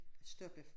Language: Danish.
Stoppe